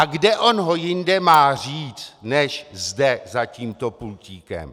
A kde on ho jinde má říct než zde za tímto pultíkem?